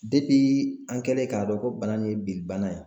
an kɛlen k'a dɔn ko bana nin ye bili bana ye.